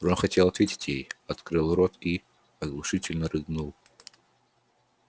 рон хотел ответить ей открыл рот и оглушительно рыгнул